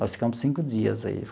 Nós ficamos cinco dias aí.